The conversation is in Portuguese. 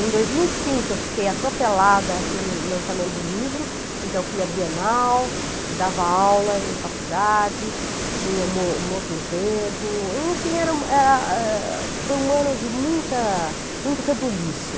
Em dois mil e cinco, eu fiquei atropelada pelo lançamento do livro, então eu fui à Bienal, dava aula em faculdade, tinha um o um outro emprego, enfim, era ah, eh, eh, foi um ano de muita muito rebuliço.